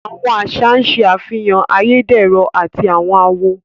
Àwọn aṣa n ṣẹ afihàn ayédérọ̀ àti awọn àwọ̀